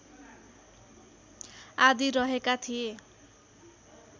आदि रहेका थिए